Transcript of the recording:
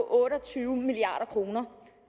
otte og tyve milliard kr